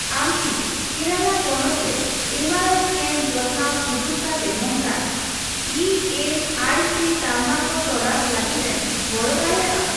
ᱟᱢ ᱠᱤ ᱠᱮᱨᱟᱞᱟ ᱯᱚᱱᱚᱛ ᱨᱮ ᱮᱢᱟᱨᱟᱭ ᱥᱠᱮᱱ ᱡᱚᱛᱱᱟᱣ ᱥᱩᱡᱩᱠ ᱠᱟᱛᱮ ᱱᱚᱝᱠᱟᱱ ᱮ ᱮᱥ ᱟᱭ ᱥᱤ ᱛᱟᱞᱢᱟ ᱠᱚ ᱛᱚᱞᱟᱥ ᱞᱟᱹᱜᱤᱫᱮᱢ ᱜᱚᱲᱚ ᱫᱟᱲᱮᱭᱟᱜᱼᱟ ᱾